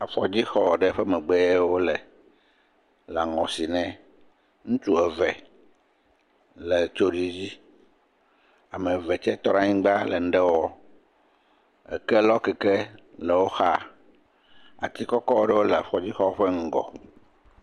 Afɔdzixɔ ɖe ƒe megbe ye wole le aŋɔ sim nɛ, ŋutsu eve le…ame eve tsɛ tɔ anyigba le nu ɖe wɔ, ekelɔkeke le wo xa, ati kɔkɔ ɖewo le afɔdzixɔ ƒe ŋgɔ.